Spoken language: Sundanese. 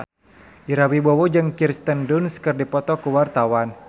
Ira Wibowo jeung Kirsten Dunst keur dipoto ku wartawan